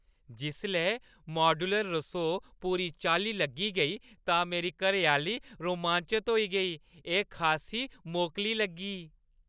जिसलै मॉड्यूलर रसोऽ पूरी चाल्ली लग्गी गेई तां मेरी घरैआह्‌ली रोमांचत होई गेई। एह् खासी मोकली लग्गी!